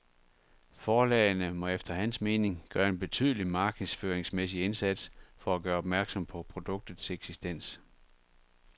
Forlagene må efter hans mening gøre en betydelig markedsføringsmæssig indsats for at gøre opmærksom på produktets eksistens.